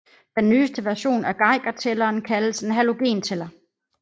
Den nyeste version af Geigertælleren kaldes en halogentæller